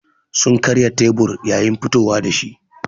Sun karya tebur yayin fitowa da shi.